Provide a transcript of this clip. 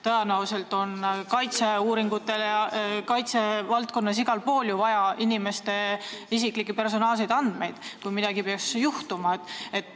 Tõenäoliselt on kaitsevaldkonnas ja igal pool ju vaja inimeste isiklikke andmeid, kui midagi peaks juhtuma.